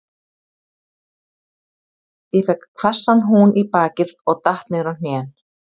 Ég fékk hvassan hún í bakið og datt niður á hnén.